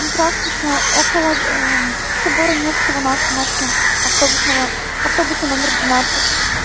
здравствуйте около собора невского на остановке автобусного автобуса номер двенадцать